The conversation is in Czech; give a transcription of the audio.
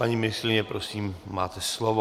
Paní ministryně, prosím, máte slovo.